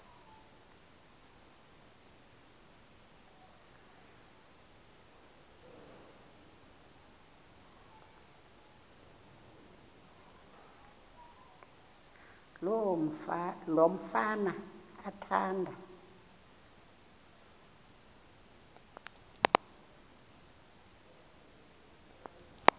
lo mfana athanda